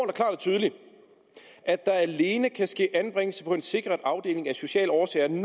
tydeligt at der alene kan ske anbringelse på en sikret afdeling af sociale årsager når